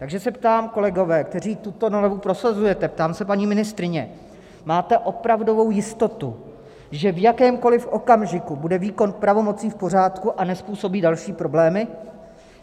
Takže se ptám, kolegové, kteří tuto novelu prosazujete, ptám se, paní ministryně: máte opravdovou jistotu, že v jakémkoliv okamžiku bude výkon pravomocí v pořádku a nezpůsobí další problémy?